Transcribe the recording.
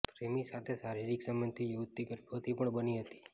પ્રેમી સાથે શારીરિક સંબંધથી યુવતી ગર્ભવતી પણ બની હતી